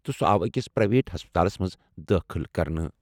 تہٕ سُہ آو أکِس پرائیویٹ ہسپتالس منٛز دٲخٕل کرنہٕ۔